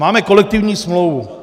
Máme kolektivní smlouvu.